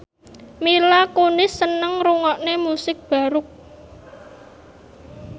Mila Kunis seneng ngrungokne musik baroque